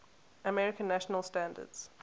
american national standards